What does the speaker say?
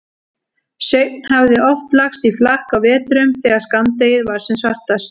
Sveinn hafði oft lagst í flakk á vetrum þegar skammdegið var sem svartast.